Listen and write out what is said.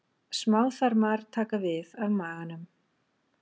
Smáþarmar taka við af maganum.